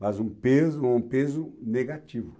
Mas um peso ou um peso negativo.